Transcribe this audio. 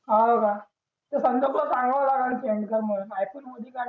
तो समोरचा चांगला आला send कर म्हणून